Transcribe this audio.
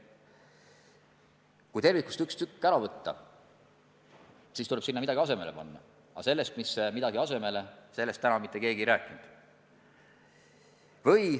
Kui tervikust üks tükk ära võtta, tuleb sinna midagi asemele panna, aga sellest, mis see midagi on, täna mitte keegi ei rääkinud.